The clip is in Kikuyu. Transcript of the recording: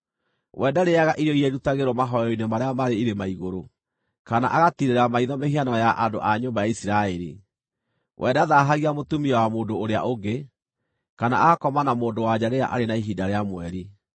We ndarĩĩaga irio iria irutagĩrwo mahooero-inĩ marĩa marĩ irĩma igũrũ, kana agatiirĩra maitho mĩhianano ya andũ a nyũmba ya Isiraeli. We ndathaahagia mũtumia wa mũndũ ũrĩa ũngĩ, kana agakoma na mũndũ-wa-nja rĩrĩa arĩ na ihinda rĩa mweri.